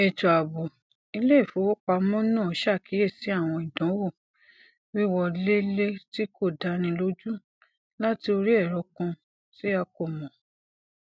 ètò ààbò iléìfowópamọ náà ṣàkíyèsí àwọn ìdánwò wíwọlélé tí kò dáni lójú láti orí ẹrọ kan tí a kò mọ